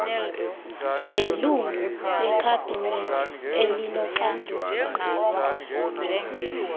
nelungu lekhabhinethi elinoxanduva